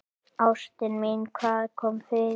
Ástin mín, hvað kom fyrir?